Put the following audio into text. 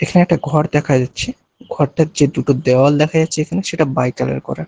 এখানে একটা ঘর দেখা যাচ্ছে ঘরটার যে দুটো দেওয়াল দেখা যাচ্ছে এখানে সেটা বাই কালার করা।